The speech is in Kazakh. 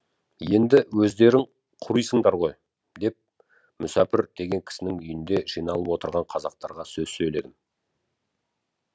енді өздерің құрисыңдар ғой деп мүсәпір деген кісінің үйінде жиналып отырған қазақтарға сөз сөйледім